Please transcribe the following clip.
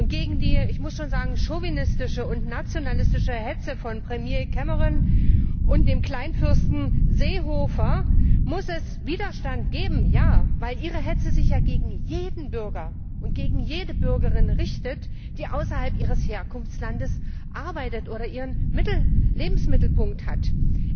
Gegen die ich muss schon sagen chauvinistische und nationalistische Hetze von Premier Cameron und dem Kleinfürsten Seehofer muss es Widerstand geben, weil ihre Hetze sich ja gegen alle Bürger und Bürgerinnen richtet, die außerhalb ihres Herkunftslandes arbeiten oder ihren Lebensmittelpunkt haben.